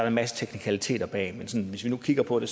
en masse teknikaliteter bag men hvis vi nu kigger på det